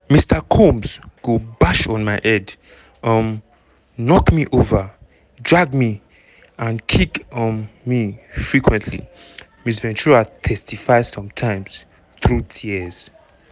mr combs go "bash on my head um knock me over drag me and kick um me" frequently ms ventura testify sometimes through tears.